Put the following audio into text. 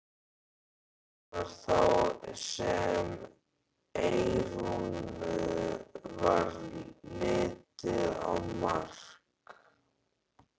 Það var þá sem Eyrúnu varð litið á Mark.